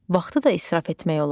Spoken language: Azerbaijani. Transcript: Vaxtı da israf etmək olar.